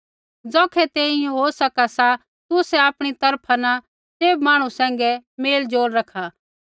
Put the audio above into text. ज़ौखै तेंई होई सका सा तुसै आपणी तरफा न सैभ मांहणु सैंघै मेलज़ोल रखा